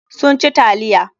Sun ci taliya.